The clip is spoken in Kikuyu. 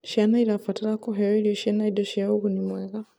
Ciana irabatar kuheo irio ciĩna indo cia ũguni mwega